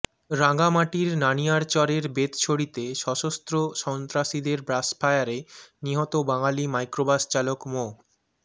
রাঙ্গামাটির নানিয়ারচরের বেতছড়িতে স্বশস্ত্র সন্ত্রাসীদের ব্রাশফায়ারে নিহত বাঙালি মাইক্রোবাস চালক মো